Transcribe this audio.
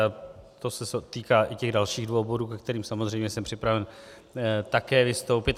A to se týká i těch dalších dvou bodů, ke kterým samozřejmě jsem připraven také vystoupit.